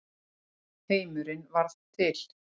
Heimurinn varð til.